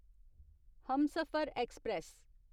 Humsafar express